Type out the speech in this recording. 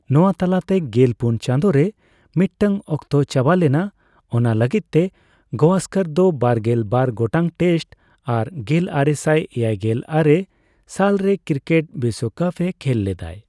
ᱱᱚᱣᱟ ᱛᱟᱞᱟᱛᱮ ᱜᱮᱞ ᱯᱩᱱ ᱪᱟᱸᱫᱚ ᱨᱮ ᱢᱤᱫᱴᱟᱝ ᱚᱠᱛᱚ ᱪᱟᱵᱟᱞᱮᱱᱟ ᱚᱱᱟ ᱞᱟᱹᱜᱤᱫ ᱛᱮ ᱜᱟᱳᱥᱠᱚᱨ ᱫᱚ ᱵᱟᱨᱜᱮᱞ ᱵᱟᱨ ᱜᱚᱴᱟᱝ ᱴᱮᱥᱴ ᱟᱨ ᱜᱮᱞᱟᱨᱮᱥᱟᱭ ᱮᱭᱟᱭᱜᱮᱞ ᱟᱨᱮ ᱥᱟᱞᱨᱮ ᱠᱤᱨᱠᱮᱴ ᱵᱤᱥᱵᱠᱟᱯ ᱮ ᱠᱷᱮᱞ ᱞᱮᱫᱟᱭ ᱾